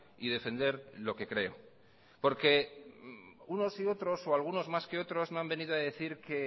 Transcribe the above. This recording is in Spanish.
y defender lo que creo porque unos y otros o algunos más que otros me han venido a decir que